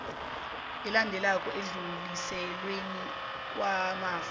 elandelako ekudluliselweni kwamafa